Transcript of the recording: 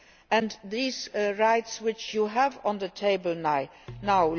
and these are rights which you have on the table now.